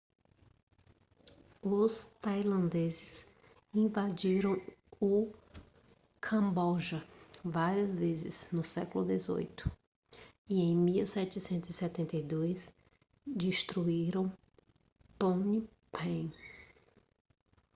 os tailandeses invadiram o camboja várias vezes no século 18 e em 1772 destruíram phnom phen